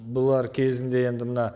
бұлар кезінде енді мына